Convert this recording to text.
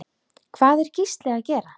Hvað er Gísli að gera?